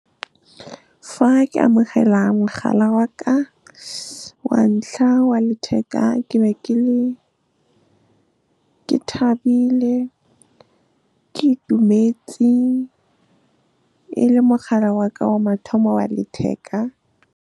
Fa ke amogela mogala wa ka wa ntlha wa letheka, ke be ke thabile, ke itumetse. E le mogala wa ka wa mathomo wa letheka.